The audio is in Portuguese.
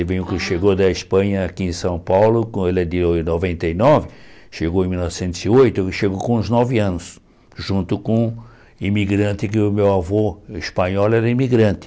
Ele veio, chegou da Espanha aqui em São Paulo, com ele é de noventa e nove, chegou em mil novecentos e oito, ele chegou com uns nove anos, junto com um imigrante que o meu avô espanhol era imigrante.